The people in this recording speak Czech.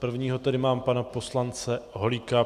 Prvního tady mám pana poslance Holíka.